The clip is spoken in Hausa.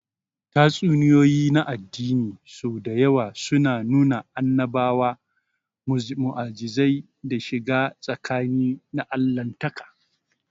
Tatsuniyoyi na addini sau da yawa suna nuna annabawa, mu'ujizai, da shiga tsakani na Allahntaka.